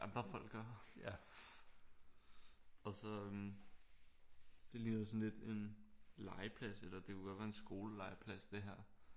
Andre folk gør og så øh det ligner sådan lidt en legeplads eller det kunne godt være en skole legeplads det her